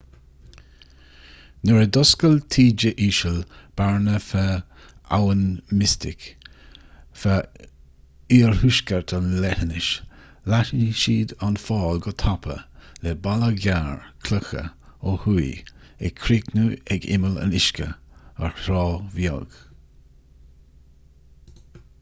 nuair a d'oscail taoide íseal bearna feadh abhainn mystic feadh oirthuaisceart an leithinis leathnaigh siad an fál go tapa le balla gearr cloiche ó thuaidh ag críochnú ag imeall an uisce ar thrá bheag